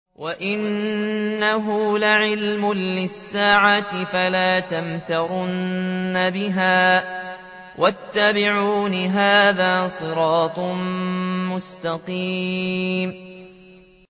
وَإِنَّهُ لَعِلْمٌ لِّلسَّاعَةِ فَلَا تَمْتَرُنَّ بِهَا وَاتَّبِعُونِ ۚ هَٰذَا صِرَاطٌ مُّسْتَقِيمٌ